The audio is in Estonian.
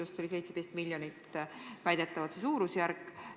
Selle maksumus oli väidetavalt 17 miljonit.